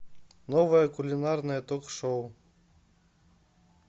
новое кулинарное ток шоу